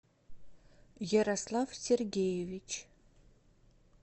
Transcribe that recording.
ярослав сергеевич